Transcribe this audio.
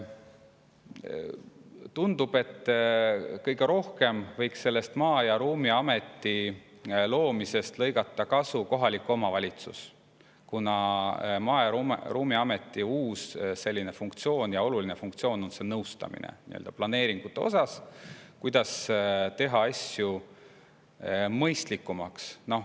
Tundub, et kõige rohkem võiks Maa‑ ja Ruumiameti loomisest lõigata kasu kohalik omavalitsus, kuna Maa‑ ja Ruumiameti oluline funktsioon on planeeringute osas nõustamine, kuidas teha asju mõistlikumaks.